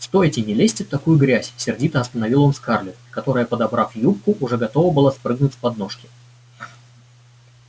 стойте не лезьте в такую грязь сердито остановил он скарлетт которая подобрав юбку уже готова была спрыгнуть с подножки